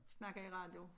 Snakke i radio